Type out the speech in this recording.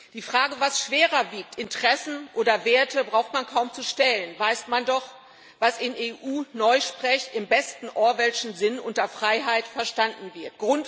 Die Frage, was schwerer wiegt Interessen oder Werte braucht man kaum zu stellen, weiß man doch, was in EU Neusprech im besten orwellschen Sinn unter Freiheit verstanden wird.